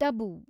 Tabu